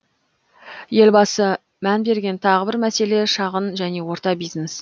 елбасы мән берген тағы бір мәселе шағын және орта бизнес